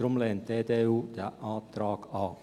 Deshalb lehnt die EDU diesen Antrag ab.